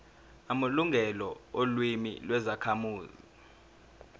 amalungelo olimi lwezakhamuzi